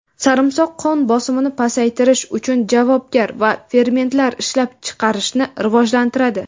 sarimsoq qon bosimini pasaytirish uchun javobgar va fermentlar ishlab chiqarishni rivojlantiradi.